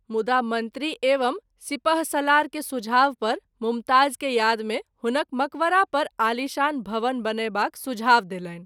मुदा मंत्री एवं सिपहसलार के सुझाव पर मुमताज़ के याद मे हुनक मकवरापर आलिशान भवन बनयबाक सुझाब देलनि।